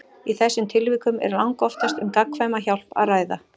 Í þessum tilvikum er langoftast um gagnkvæma hjálp að ræða.